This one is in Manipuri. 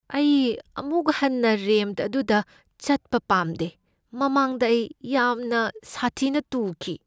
ꯑꯩ ꯑꯃꯨꯛ ꯍꯟꯅ ꯔꯦꯝꯞ ꯑꯗꯨꯗ ꯆꯠꯄ ꯄꯥꯝꯗꯦ꯫ ꯃꯃꯥꯡꯗ ꯑꯩ ꯌꯥꯝꯅ ꯁꯥꯊꯤꯅ ꯇꯨꯈꯤ꯫